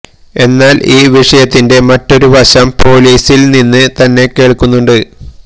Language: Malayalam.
എന്നാല് ഈ വിഷയത്തിന്റെ മറ്റൊരു വശം പൊലീസില് നിന്നും തന്നെ കേള്ക്കുന്നുണ്ട്